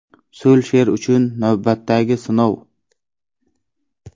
Sulsher uchun navbatdagi sinov.